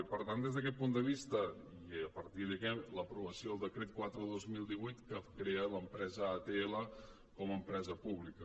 i per tant des d’aquest punt de vista i a partir d’aquí l’aprovació del decret quatre dos mil divuit que crea l’empresa atl com a empresa pública